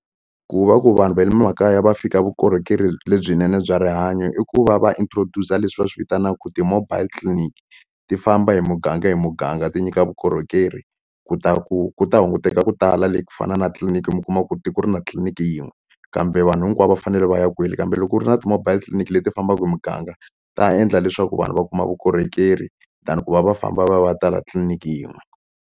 Ku va ku vanhu va le makaya va fika vukorhokeri lebyinene bya rihanyo i ku va va introduce-a leswi va swi vitanaka ti-mobile clinic ti famba hi muganga hi muganga ti nyika vukorhokeri ku ta ku ku ta hunguteka ku tala le ku fana na tliliniki mi kuma ku tiko ri na tliliniki yin'we kambe vanhu hinkwavo va fanele va ya kwele kambe loko u ri na ti-mobile clinic leti fambaka hi muganga ta endla leswaku vanhu va kuma vukorhokeri than ku va va famba va va tala tliliniki yin'we.